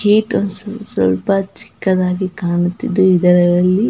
gate ಒಂದ್ ಸ್ವಲ್ಪ ಚಿಕ್ಕದಾಗಿ ಕಾಣುತ್ತಿದೆ ಇದರಲ್ಲಿ --